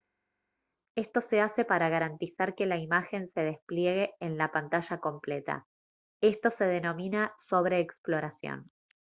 esto se hace para garantizar que la imagen se despliegue en la pantalla completa esto se denomina sobreexploración